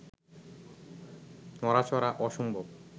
নড়াচড়া অসম্ভব